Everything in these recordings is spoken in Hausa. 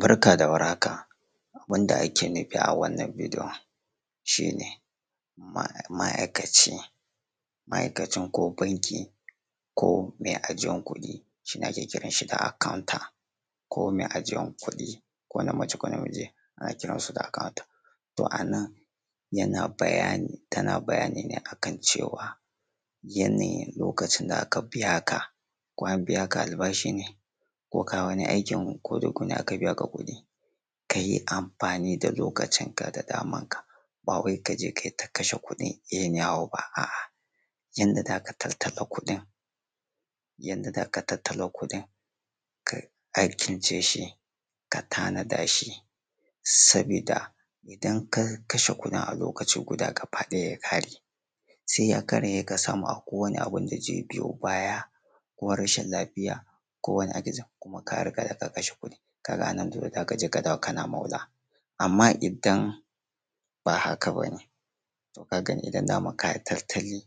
Barka da war haka abun da ake nufi a wannan bidiyon shi ne ma’aikacin banki ko mai ajiyar kuɗi shi ake kiran shi da accounter ko mai ajiyar kuɗi ko mace ko namiji ana kiransu da accouter. Yana bayani tana bayani lokacin da aka biya ka ko an biya ka albashi ne ko wani aiki da kayi. Ka yi amfani da lokacin ka da damanka bai ka je ka yi ta kashe kudi anyhow ba. A’a yadda za ka tattala kuɗi ka alkince shi ka tanada shi saboda idan ka kashen kuɗin a lokacin guda sai ya samu kana son wani abu ko arashin lafiya da zai biyo baya kuma ka riga ka kashe kudin a ranar sai ka dawo kana maula. Amma idan ba haka ba ne ka ga ni daman ka yi tattali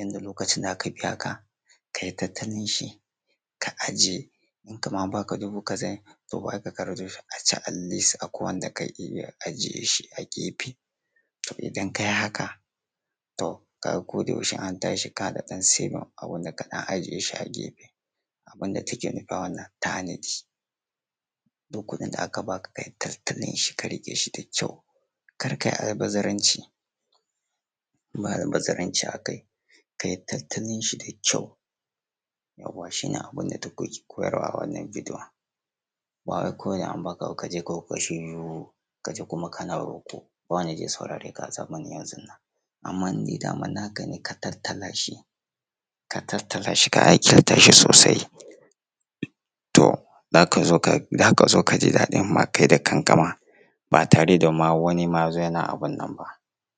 inda lokacin da aka biya ka ka yi tattalin shi ka ajiye kamara an ba ka dubu kaza ne aka ajiye shi a gefe, to idan ka yi haka da an tashi kana da wani abu da kayi saving da ka ɗan ajiye Abun da take nufi a wannan duk kuɗin da aka ba ka ka yi tattalin shi ka rike shi da ƙyau kar ka yi almabazaranci, ka yi tattalin shi da ƙyau, yawa shi ne abun da take koyarwa a wannan bidiyon. Ba wai kawai da an ba ka ba ka je ka kashe ka juyo kana riƙo wa zai saurare ka a zamanin yanzu. Amma idan naka ne ka tattala shi ka alkintashi sosai za ka zo ka ji daɗi kai da kanka ma ba tare da wani abun nan ba.